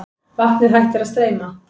Vatnið hættir að streyma.